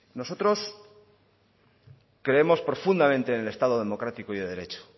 nosotros creemos profundamente en el estado democrático y de derecho